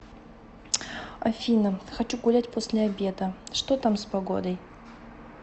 афина хочу гулять после обеда что там с погодой